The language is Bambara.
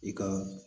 I ka